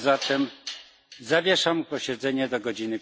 Zatem zawieszam posiedzenie do godz.